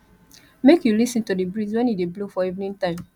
make you lis ten to di breeze when e dey blow for evening time